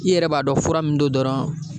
I yɛrɛ b'a dɔn fura mun don dɔrɔn